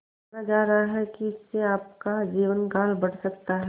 माना जा रहा है कि इससे आपका जीवनकाल बढ़ सकता है